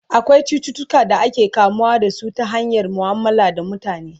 akwai cututuka da ake kamuwa da su ta hanyar muamala da mutane